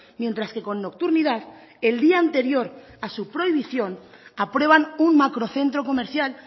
mientras que con nocturnidad el día anterior a su prohibición aprueban un macrocentro comercial